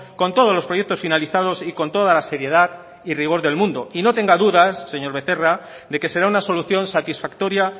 con todos los proyectos finalizados y con toda la seriedad y rigor del mundo y no tenga dudas señor becerra de que será una solución satisfactoria